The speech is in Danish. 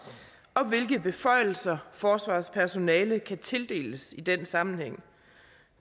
og hvilke beføjelser forsvarets personale kan tildeles i den sammenhæng